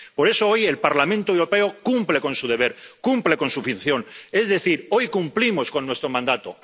Por eso hoy el Parlamento Europeo cumple con su deber, cumple con su función, es decir, hoy cumplimos con nuestro mandato.